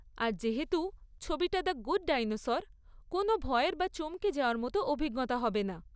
আর যেহেতু ছবিটা 'the good dinosaur', কোন ভয়ের বা চমকে যাওয়ার মতো অভিজ্ঞতা হবে না।